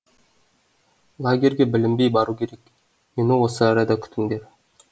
лагерьге білінбей бару керек мені осы арада күтіңдер